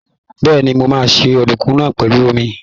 Bẹ́ẹ̀ni, mo máa se ọ̀dùnkún náà pèlú omi.